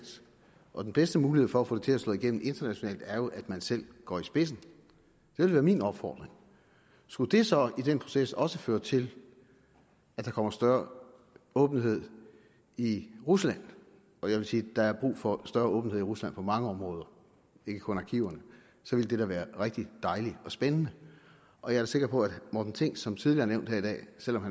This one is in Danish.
og den bedste mulighed for at få det til at slå igennem internationalt er jo at man selv går i spidsen det vil være min opfordring skulle det så i den proces også føre til at der kommer større åbenhed i rusland og jeg vil sige at der er brug for større åbenhed i rusland på mange områder ikke kun i arkiverne ville det da være rigtig dejligt og spændende og jeg er sikker på at morten thing som tidligere nævnt her i dag selv om